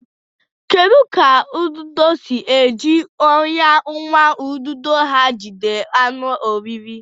Kedu ka ududo si eji ọnyà nwa ududo ha jide anụ oriri?